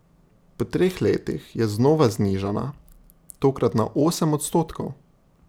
Po treh letih je znova znižana, tokrat na osem odstotkov.